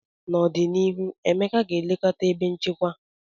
N'ọdịnihu, Emeka ga-elekọta ebe nchekwa.